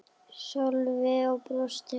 Sölvi og brosti.